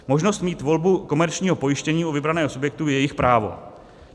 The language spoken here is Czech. Možnost mít volbu komerčního pojištění u vybraných subjektů je jejich právo.